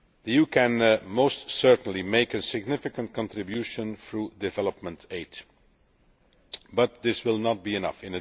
You can most certainly make a significant contribution through development aid, but this will not be enough.